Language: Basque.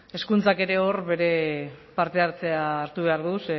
hezkuntzak ere hor bere parte hartzea hartu behar du